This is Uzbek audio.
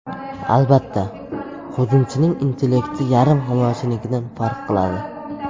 Albatta, hujumchining intellekti yarim himoyachinikidan farq qiladi.